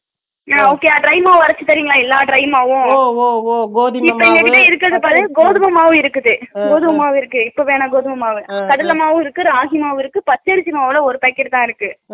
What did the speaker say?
okay yeah dry மாவு அரச்சு தரிங்களா எல்லா dry மாவு ஒவ் ஒவ் ஒவ் கோதுமைமாவு இருக்குது கோதுமைமாவு இருக்குது இப்பவேன்ன கோதுமைமாவு, கடலை மாவு இருக்குது ராகி மாவு இருக்குது, பச்சரிசி மாவுல ஒரு packet தான் இருக்கு